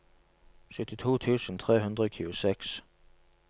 syttito tusen tre hundre og tjueseks